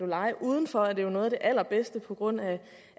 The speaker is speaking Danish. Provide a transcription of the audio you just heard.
lege udenfor er det jo noget af det allerbedste på grund af